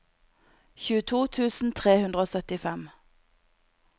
tjueto tusen tre hundre og syttifem